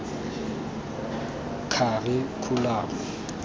kharikhulamo